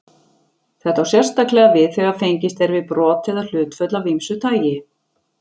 Þetta á sérstaklega við þegar fengist er við brot eða hlutföll af ýmsu tagi.